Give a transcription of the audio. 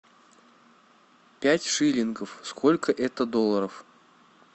пять шиллингов сколько это долларов